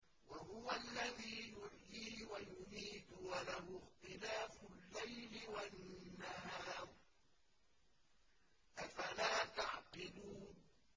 وَهُوَ الَّذِي يُحْيِي وَيُمِيتُ وَلَهُ اخْتِلَافُ اللَّيْلِ وَالنَّهَارِ ۚ أَفَلَا تَعْقِلُونَ